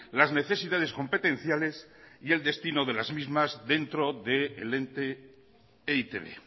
las necesidades competenciales y el destino de las mismas dentro del ente e i te be